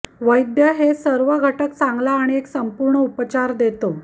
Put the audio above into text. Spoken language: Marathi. वैद्य हे सर्व घटक चांगला आणि एक संपूर्ण उपचार देतो